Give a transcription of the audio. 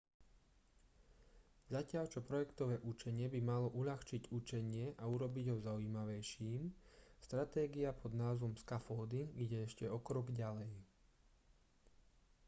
zatiaľ čo projektové učenie by malo uľahčiť učenie a urobiť ho zaujímavejším stratégia pod názvom scaffolding ide ešte o krok ďalej